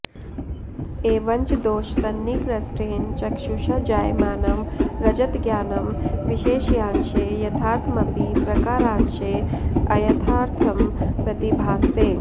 एवञ्च दोषसन्निकृष्टेन चक्षुषा जायमानं रजतज्ञानं विशेष्यांशे यथार्थमपि प्रकारांशे अयथार्थं प्रतिभासते